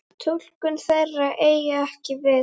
Túlkun þeirra eigi ekki við.